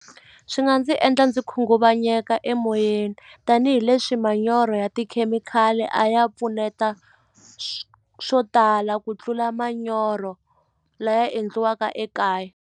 Swi nga ndzi endla ndzi khunguvanyeka emoyeni tanihileswi manyoro ya tikhemikhali a ya pfuneta swo tala ku tlula manyoro laya endliwaka ekaya.